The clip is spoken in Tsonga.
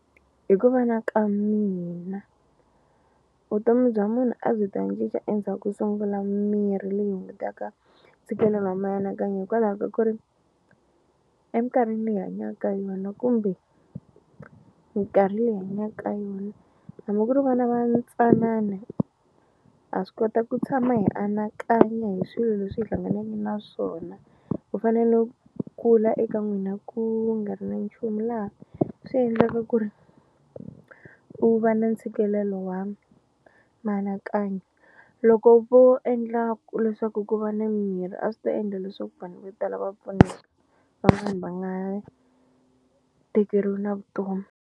Hi ku vona ka mina vutomi bya munhu a byi ta cinca endzhako sungula mirhi leyi hungutaka ntshikelelo wa mianakanyo hikwalaho ka ku ri emikarhini leyi hi hanya ka yona kumbe mikarhi leyi hanya ka yona hambi ku ri vana va ntsanana ha swi kota ku tshama hi anakanya hi swilo leswi hi hlanganeke na swona ku fana no kula eka n'wina ku nga ri na nchumu laha swi endlaka ku ri u va na ntshikelelo wa mianakanyo loko vo endla ku leswaku ku va ni mirhi a swi ta endla leswaku vanhu vo tala va pfuneka van'wani va nga tekeriwi na vutomi.